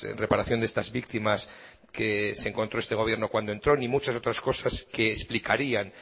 reparación de estas víctimas que se encontró este gobierno cuando entró ni muchas otras cosas que explicarían